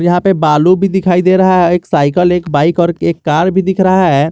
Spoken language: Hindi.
यहां पे बालू भी दिखाई दे रहा है एक साइकल एक बाइक और एक कार भी दिख रहा है।